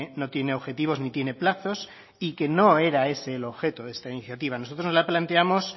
no tiene objetivos ni tiene plazos y que no era ese el objeto de esta iniciativa nosotros no la planteamos